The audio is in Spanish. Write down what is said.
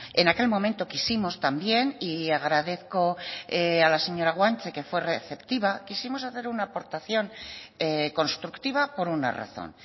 en aquel momento quisimos también y agradezco a la señora guanche que fue receptiva quisimos hacer una aportación constructiva por una razón